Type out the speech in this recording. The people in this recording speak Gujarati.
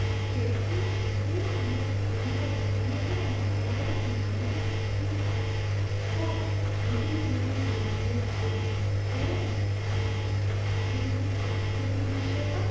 તે થી શરીર અને તેના વર્ણ ને આધારે માનવતાથી ઑ જુદી જુદી જોઇયે છે તે એમની સંસ્કૃતિ વિષે પણ